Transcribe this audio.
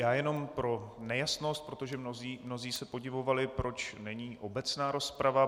Já jenom pro nejasnost, protože mnozí se podivovali, proč není obecná rozprava.